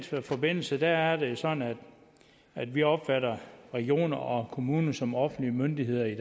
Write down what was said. forbindelse er det sådan at vi opfatter regioner og kommuner som offentlige myndigheder i